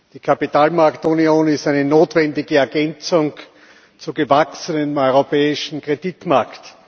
Die Kapitalmarktunion ist eine notwendige Ergänzung zum gewachsenen europäischen Kreditmarkt.